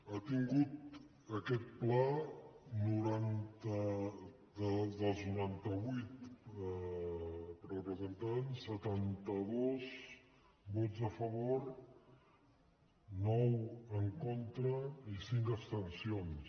ha tingut aquest pla dels noranta vuit representants setanta dos vots a favor nou en contra i cinc abstencions